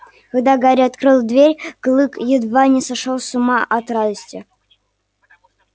когда гарри открыл дверь клык едва не сошёл с ума от радости